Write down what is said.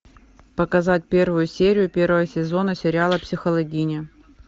показать первую серию первого сезона сериала психологини